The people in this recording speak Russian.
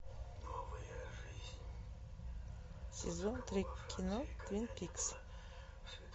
сезон три кино твин пикс